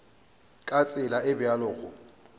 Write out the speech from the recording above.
ka tsela e bjalo go